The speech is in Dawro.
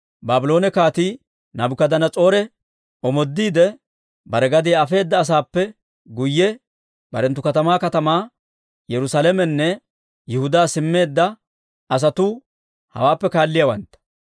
Baabloone Kaatii Naabukadanas'oore omoodiide, bare gadiyaa afeedda asaappe guyye barenttu katamaa katamaa Yerusaalamenne Yihudaa simmeedda asatuu hawaappe kaalliyaawantta.